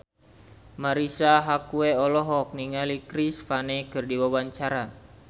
Marisa Haque olohok ningali Chris Pane keur diwawancara